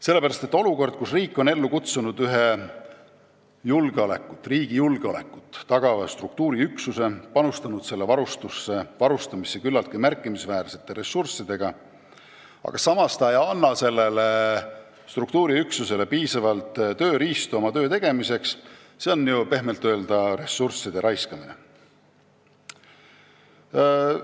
Kui valitseb olukord, kus riik on loonud riigi julgeolekut tagava struktuuriüksuse ja kulutanud selle varustamiseks küllaltki märkimisväärseid ressursse, aga samas pole andud sellele struktuuriüksusele piisavalt tööriistu oma töö tegemiseks, siis see on pehmelt öeldes ressursside raiskamine.